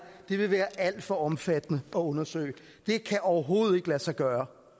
det vil være alt for omfattende at undersøge det kan overhovedet ikke lade sig gøre